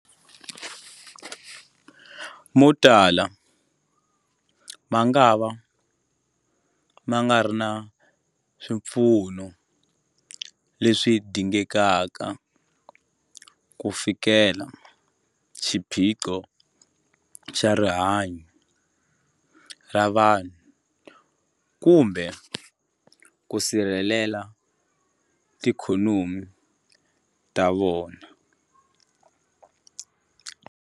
Motala mangava ma nga ri na swipfuno leswi dingekaka ku fikelela xiphiqo xa rihanyu ra vanhu kumbe ku sirhelela tiikhonomi ta vona.